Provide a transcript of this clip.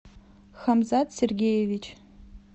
хамзат сергеевич